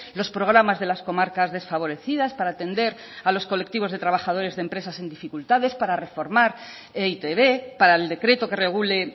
los programas de las comarcas desfavorecidas para atender a los colectivos de trabajadores de empresas en dificultades para reformar e i te be para el decreto que regule